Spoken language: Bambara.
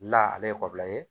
La ale ye ye